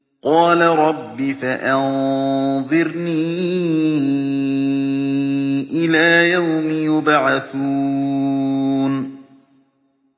قَالَ رَبِّ فَأَنظِرْنِي إِلَىٰ يَوْمِ يُبْعَثُونَ